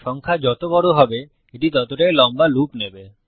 সংখ্যা যত বড় হবে এটি ততটাই লম্বা লুপ নেবে